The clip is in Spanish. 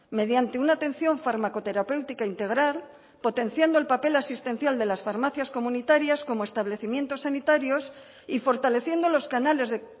mediante una atención fármaco terapéutica integral potenciando el papel asistencial de las farmacias comunitarias como establecimientos sanitarios y fortaleciendo los canales de